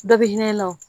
Dɔ bɛ hinɛ i la o